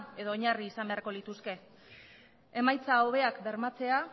edo oinarri izan beharko lituzke emaitza hobeak bermatzea